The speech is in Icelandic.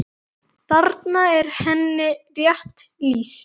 Þarna er henni rétt lýst.